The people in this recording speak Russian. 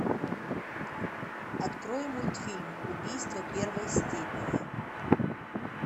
открой мультфильм убийство первой степени